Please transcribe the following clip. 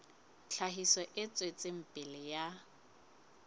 tlhahiso e tswetseng pele ya